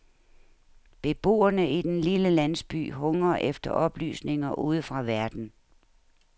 Beboerne i den lille landsby hungrer efter oplysninger udefra verden.